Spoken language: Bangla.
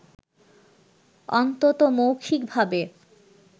অন্তত মৌখিকভাবে